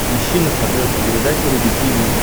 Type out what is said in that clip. ищи на смотрешке передачу рубль ти ви